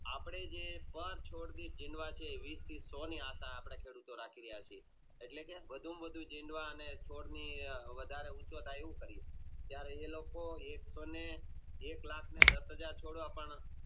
આપણે જે પાંચ છોડ ની ડીંડવા છે એટલે કે વધુ માં વધુ ડીંડવા ને છોડ વધારે વિશ્વત એવું કરીયે જ્યાં એ લોકો એક સો ને એક લાખ ને દાસ હાજર છોડવા પણ